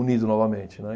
unido novamente, né?